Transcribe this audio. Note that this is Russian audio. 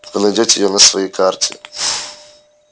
вы найдёте её на своей карте